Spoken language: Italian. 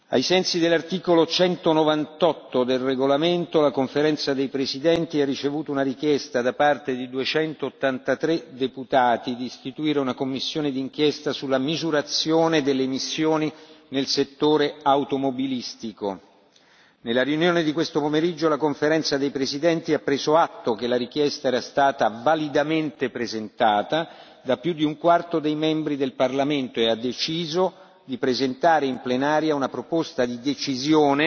Ai sensi dell'articolo 198 del regolamento, la Conferenza dei presidenti ha ricevuto una richiesta da parte di 283 deputati di istituire una commissione di inchiesta sulla misurazione delle emissioni nel settore automobilistico. Nella riunione di questo pomeriggio la Conferenza dei presidenti ha preso atto che la richiesta era stata validamente presentata da più di un quarto dei membri del Parlamento e ha deciso di presentare in plenaria una proposta di decisione